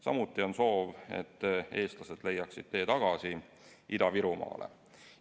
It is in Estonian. Samuti on soov, et eestlased leiaksid tee tagasi Ida-Virumaale.